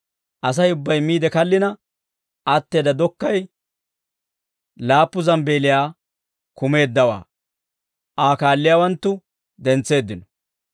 Asay ubbay miide kallina atteedda dokkay laappu zambbeeliyaa kumeeddawaa Aa kaalliyaawanttu dentseeddino.